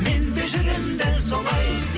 мен де жүремін дәл солай